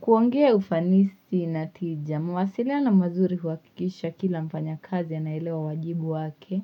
Kuongea ufanisi na tija. Mawasiliano mazuri huhakikisha kila mfanyakazi anaelewa wajibu wake.